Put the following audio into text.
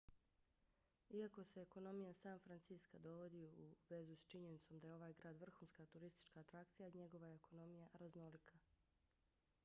iako se ekonomija san francisca dovodi u vezu s činjenicom da je ovaj grad vrhunska turistička atrakcija njegova je ekonomija raznolika